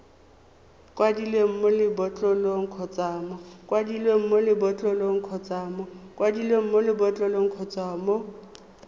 kwadilweng mo lebotlolong kgotsa mo